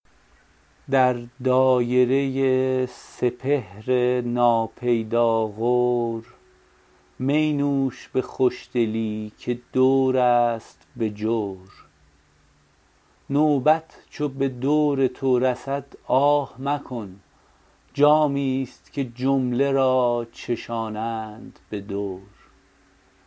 در دایره سپهر ناپیدا غور می نوش به خوشدلی که دور است به جور نوبت چو به دور تو رسد آه مکن جامی ست که جمله را چشانند به دور